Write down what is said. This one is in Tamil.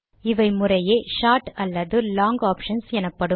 இவை முறையே ஷார்ட் அல்லது லாங் ஆப்ஷன்ஸ் எனப்படும்